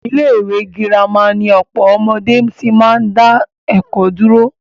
Ilé ìwé gírámà ni ọ̀pọ̀ ọmọdé tí máa ń dá ẹ̀kọ́ dúró.